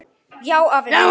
Já, afi minn.